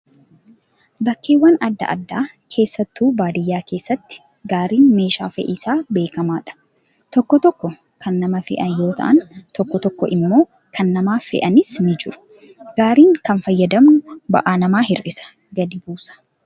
Bakkeewwan adda addaa keessattuu baadiyyaa keessatti gaariin meeshaa fe'iisaa beekamaadha. Tokko tokko kan nama fe'an yoo ta'an, tokko tokko immoo kan nama fe'anis ni jiru. Gaarii kana fayyadamuun ba'aa namaaf hir'isa, gadi buusa.